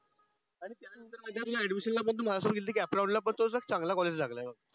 तुझ्या ऍडमिशनला पण तू माझ्यासोबत कॅप राऊंडला पण तुला चांगला कॉलेज लागलंय.